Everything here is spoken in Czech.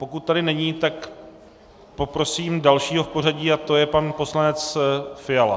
Pokud tady není, tak poprosím dalšího v pořadí a to je pan poslanec Fiala.